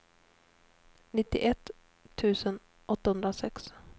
nittioett tusen åttahundrasex